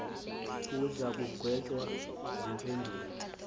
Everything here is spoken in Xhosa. uza kugwetywa ziimpendulo